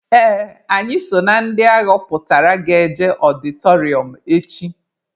Ee, anyị so na ndị aghọpụtara ga-eje ọdịtọrịọm echi.